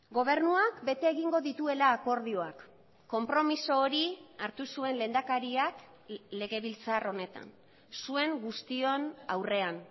gobernuak bete egingo dituela akordioak konpromiso hori hartu zuen lehendakariak legebiltzar honetan zuen guztion aurrean